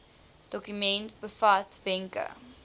dokument bevat wenke